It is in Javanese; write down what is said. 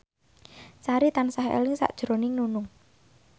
Sari tansah eling sakjroning Nunung